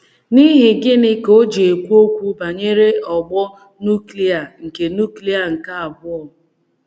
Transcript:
N’ihi gịnị ka o ji ekwu okwu banyere ọgbọ nuklia nke nuklia nke abụọ?